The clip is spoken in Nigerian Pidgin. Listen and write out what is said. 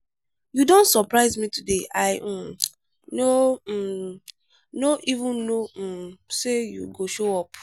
you don surprise me today i um no um no even know um say you go show up.